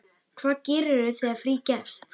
Hvað gerirðu þegar frí gefst?